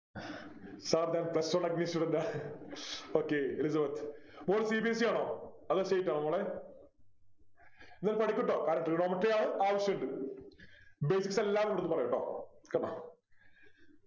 sir ഞാൻ plus one student ആ Okay Elizabeth മോള് cbse ആണോ അതോ state ആണോ മോളെ ന്ന പഠിക്കു ട്ടോ കാരണം Trigonometry ആണ് ആവശ്യമുണ്ട് base എല്ലാം ഇവിടന്ന് പറയും ട്ടോ കെട്ടോ